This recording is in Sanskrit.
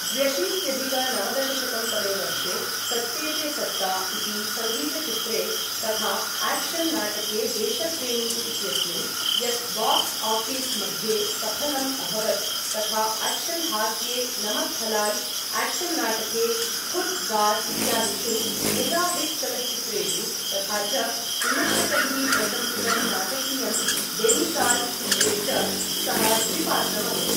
द्व्यशीत्यधिक नवदशशतं तमे वर्षे, सत्ते पे सत्ता इति सङ्गीतचित्रे तथा आक्शन् नाटके देशप्रेमी इत्यस्मिन्, यत् बाक्स् आफिस् मध्ये सफलम् अभवत्, तथा आक्शन् हास्ये नमक् हलाल्, आक्शन् नाटके खुद दार् इत्यादिषु मेगा हिट् चलच्चित्रेषु, तथा च विमर्शकैः प्रशंसितं नाटकीयं बेमिसाल् चित्रे च सः द्विपात्रम् अकरोत्।